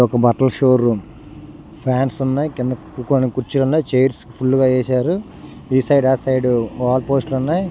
ఇది ఒక బట్టల షో రూమ్ ఫాన్స్ ఉన్నాయి. కింద కూర్చోవడానికి కుర్చిలున్నాయి. చైర్స్ ఫుల్ గా వేశారు ఈ సైడ్ ఆ సైడ్ వాల్ పోస్టర్లు ఉన్నాయి .